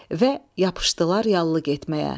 Və yapışdılar yallı getməyə.